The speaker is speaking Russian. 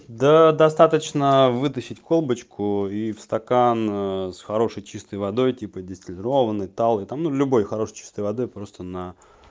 да достаточно вытащить колбочку и в стакан с хорошей чистой водой типа дистиллированной талой там ну любой хорошей чистой водой просто на